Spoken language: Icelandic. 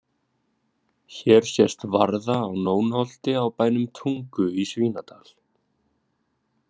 Hér sést varða á Nónholti á bænum Tungu í Svínadal.